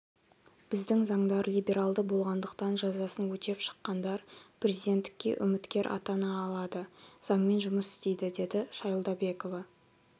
біздің заңдар либералды болғандықтан жазасын өтеп шыққандар президенттікке үміткер атана алады заңмен жұмыс істейді деді шайлдабекова